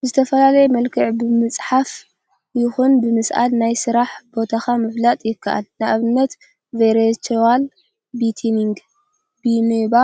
ብዝተፈላለየ መልክዕ ብምፅሓፍ ይኩን ብምስአል ናይ ስራሕ ቦታካ ምፍላጥ ይከአል፡፡ ንአብነት ቨርችዋል ቤቲንግ፣ ቢምባ